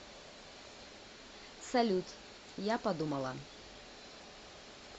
салют я подумала